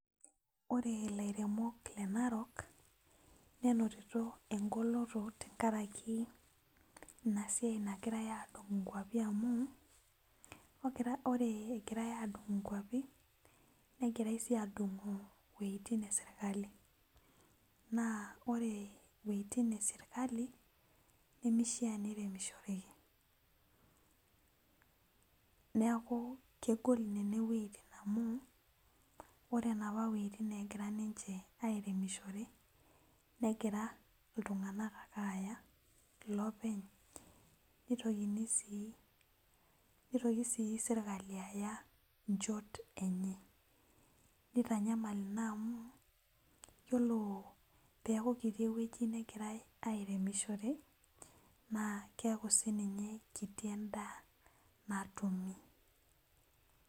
Ore lairemok le narok neinoto engoloto tenkaraki enasiai nagirai adung nkwapi amu ore egirai adung nkwapi negirai si adungu wuetin eserkali na ore weitin eserkali nemishaa piremishoreki neaku kegol nona wuejitin amu ore naapa wuejitin nagurai airemishore negira ninye negira ltunganak aya nitoki si serkali aya nchot enye nitanyamal inabamu teneaku kekiti ewoi nagirai airemishore neakukekiti endaa natumi.